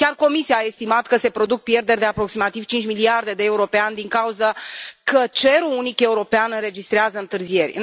Chiar Comisia a estimat că se produc pierderi de aproximativ 5 miliarde de euro pe an din cauza că cerul unic european înregistrează întârzieri.